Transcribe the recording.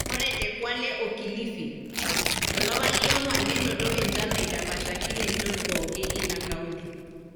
Ore te Kwale o Kilifi, tolapa liong`uan nenoto enchan naidapashekine nchot pooki ina kaunti.